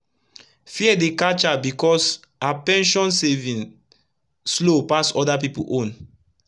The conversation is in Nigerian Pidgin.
fear dey catch her becos her pension saving slow pass oda pipu own